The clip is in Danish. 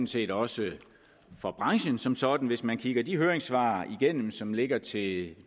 set også for branchen som sådan hvis man kigger de høringssvar igennem som ligger til det